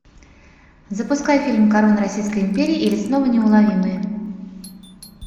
запускай фильм корона российской империи или снова неуловимые